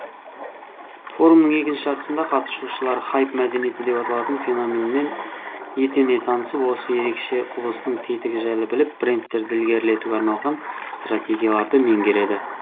форумның екінші жартысында қатысушылар хайп мәдениеті деп аталатын феноменмен етене танысып осы ерекше құбылыстың тетігі жайлы біліп брендтерді ілгерілетуге арналған стратегияларды меңгереді